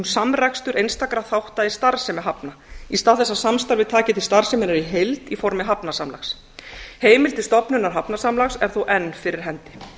samrekstur einstakra þátta í starfsemi hafna í stað þess að samstarfið taki til starfseminnar í heild í formi hafnasamlags heimildir stofnunar hafnasamlags er þó enn fyrir hendi